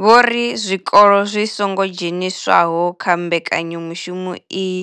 Vho ri zwikolo zwi songo dzheniswaho kha mbekanya mushumo iyi